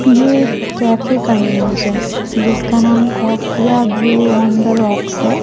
ये एक कैफे का इमेज है जिसका नाम कौफिया ब्लू ऑन द रॉक्स है।